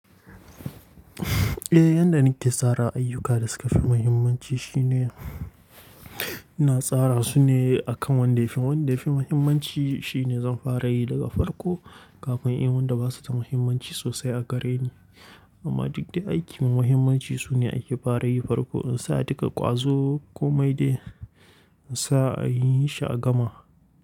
Eh, yanda nake tsara ayyuka da suka fi muhimmanci shine ina tsara su ne akan wanda yafi, wanda yafi muhimmanci shine zan fara yi daga farko kafin in wanda ba su da muhimmanci sosai a gare ni. Amma duk dai aikin muhimmanci su ne ake fara yi farko in sa a dika ƙwazo komai dai in sa a yi shi a gama.